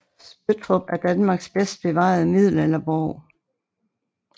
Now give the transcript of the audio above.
Spøttrup er Danmarks bedst bevarede middelalderborg